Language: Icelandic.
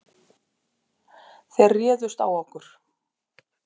Þeir réðust á okkur.